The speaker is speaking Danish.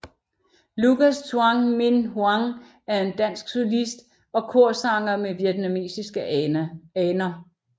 Lucas Tuan Minh Hoang er en dansk solist og korsanger med vietnamesiske aner